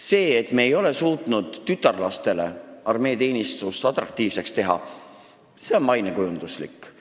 See, et me ei ole suutnud tütarlastele armeeteenistust atraktiivseks teha, on mainekujunduse küsimus.